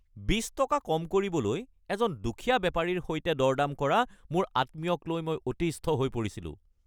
২০ টকা কম কৰিবলৈ এজন দুখীয়া বেপাৰীৰ সৈতে দৰ-দাম কৰা মোৰ আত্মীয়কলৈ মই অতিষ্ঠ হৈ পৰিছিলোঁ।